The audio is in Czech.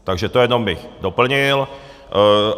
Takže to jenom bych doplnil.